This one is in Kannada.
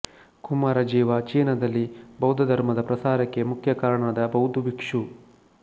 ಕುಮಾರ ಜೀವ ಚೀನದಲ್ಲಿ ಬೌದ್ಧಧರ್ಮದ ಪ್ರಸಾರಕ್ಕೆ ಮುಖ್ಯ ಕಾರಣನಾದ ಬೌದ್ಧಭಿಕ್ಷು